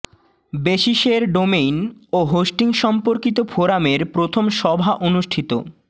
বেসিসের domain ও hosting সম্পর্কিত ফোরামের প্রথম সভা অনুষ্ঠিত